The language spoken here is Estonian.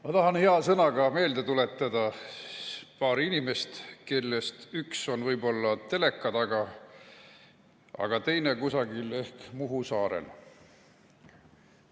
Ma tahan hea sõnaga meelde tuletada paari inimest, kellest üks on võib-olla teleka taga, aga teine ehk kusagil Muhu saarel.